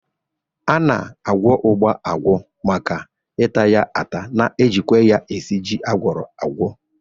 A na-agwọ ụgba agwọ maka ita ya ata, na-ejikwa ya esi ji agwọro agwọ